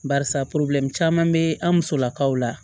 Barisa caman be an musolakaw la